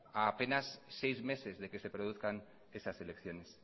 a apenas seis meses de que se produzcan esas elecciones